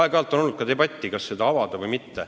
" Aeg-ajalt on olnud debatte, kas seda avada või mitte.